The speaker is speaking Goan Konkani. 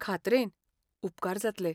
खात्रेन. उपकार जातले!